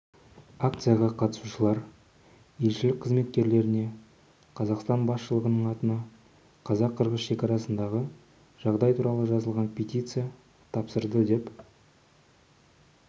акцияға қатысушылар елшілік қызметкерлеріне қазақстан басшылығының атына қазақ-қырғыз шекарасындағы жағдай туралы жазылған петиция тапсырды деп